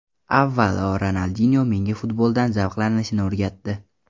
Avvalo Ronaldinyo menga futboldan zavqlanishni o‘rgatdi”.